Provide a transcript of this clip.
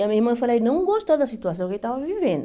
E a minha irmã, eu falei, não gostou da situação que ele estava vivendo.